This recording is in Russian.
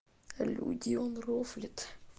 люди он рофлит